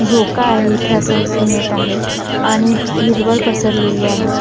झोका आहे इथे असं दिसून येत आहे आणि हिरवळ पसरलेली आहे.